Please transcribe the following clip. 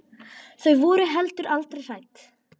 Þau voru heldur aldrei hrædd.